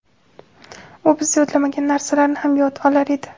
U biz yodlamagan narsalarni ham yod olar edi.